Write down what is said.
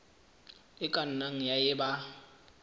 e ka nnang ya eba